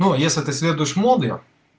но если ты следуешь моды